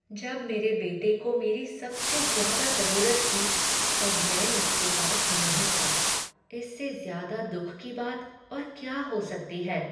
जब मेरे बेटे को मेरी सबसे ज्यादा जरूरत थी, तब मैं उसके पास नहीं था। इससे ज़्यादा दुख की बात और क्या हो सकती है।